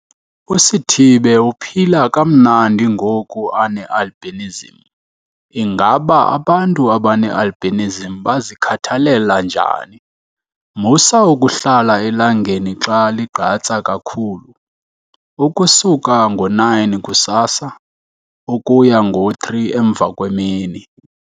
USithibe uphila kamnandi ngoku ane-albinism. Ingaba abantu abane-albinism bazikhathalela njani? Musa ukuhlala elangeni xa ligqatsa kakhulu, ukusuka ngo-9 kusasa ukuya ngo-3 emva kwemini.